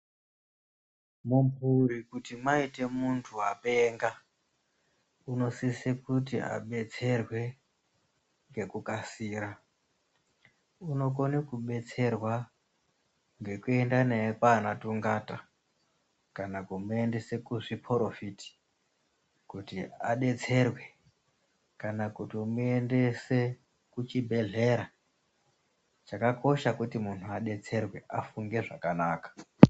Mumhuri kuti maite muntu apenga, unosise kuti adetserwe ngekukasira .Unokone kudetserwa ngekuenda naye kwana tungata kana kumuendese kuzviporofiti kuti adetserwe kana kutomuendese kuchibhedlera chakakosha kuti munhu adetserwe afunge zvakanaka.